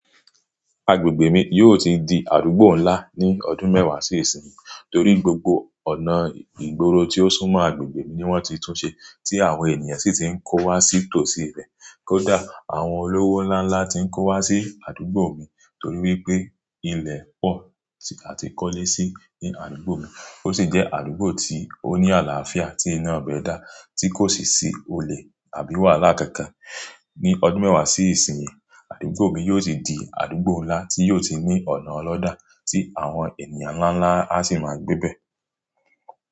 Agbègbè mi yóò ti di àdúgbò ńlá ní ọdún mẹ́wàá sí ìsinyìí torí gbogbo ọ̀nà ìgboro tí ó súnmọ́ agbègbè mi ni wọ́n ti túnṣe tí àwọn ènìyàn sì ti ń kó wá sì tò sí ibẹ̀. Kódà àwọn olówó ńlá ńlá ti ń kó wá sí àdúgbò mi torí wípé ilẹ̀ pọ̀ àti kọ́lé sí ní àdúgbò mi. Ó sì jẹ́ àdúgbò tí ó ní àlàáfíà tí iná bẹ dá tí kò sì sí olè àbí wàhálà kankan. Ni ọdún mẹ́wàá sí ìsinyìí, àdúgbò mi yóò ti di àdúgbò ńlá tí yóò ti ní ọ̀nà ọlọ́dàá tí àwọn ènìyàn ńlá ńlá á sì máa gbébẹ̀